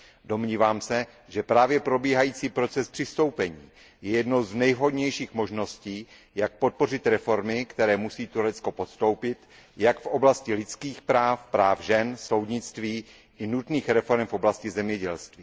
Domnívám se, že právě probíhající proces přistoupení je jednou z nejvhodnějších možností, jak podpořit reformy, které musí Turecko podstoupit jak v oblasti lidských práv, práv žen, soudnictví i nutných reforem v oblasti zemědělství.